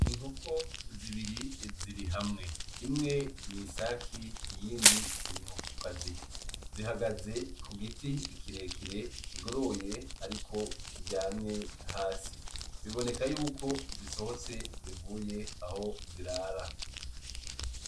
Inkoko zibiri ziri hamwe, imwe n'insake iyindi n'inkokokazi zihagaze kugiti kirekire kigoroye ariko kiryamye hasi biboneka y'uko zisohotse zivuye aho zirara.